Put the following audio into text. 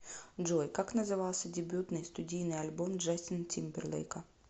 джой как назывался дебютный студийный альбом джастина тимберлейка